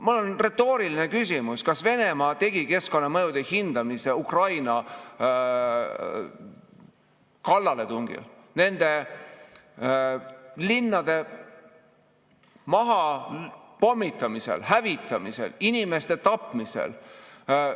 Mul on retooriline küsimus: kas Venemaa tegi keskkonnamõjude hindamise Ukrainale kallale tungimisel, nende linnade mahapommitamisel, hävitamisel, inimeste tapmisel?